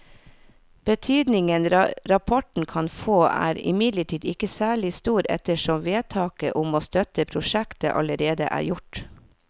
Betydningen rapporten kan få er imidlertid ikke særlig stor ettersom vedtaket om å støtte prosjektet allerede er gjort.